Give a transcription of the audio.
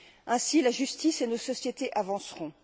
Ainsi, la justice et nos sociétés avanceront.